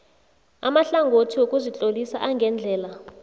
amahlangothi wokuzitlolisa angendlela